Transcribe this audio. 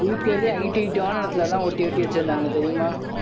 இருக்கறதுலயே height height ஆன இடத்திலே எல்லாம் ஒட்டி ஒட்டி வச்சிருந்தாங்க தெரியுமா?